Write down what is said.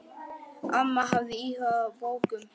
Amma hafði áhuga á bókum.